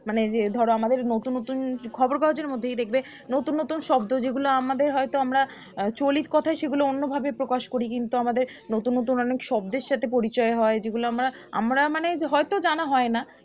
মানে যে ধরো আমাদের নতুন নতুন খবর কাগজের মধ্যেই দেখবে নতুন নতুন শব্দ যেগুলো আমাদের হয়তো আমরা আহ চলিতকথায় সেগুলো অন্য ভাবে প্রকাশ করি কিন্তু আমাদের নতুন নতুন অনেক শব্দের সাথে পরিচয় হয় যেগুলো আমরা আমরা মানে হয়তো জানা হয় না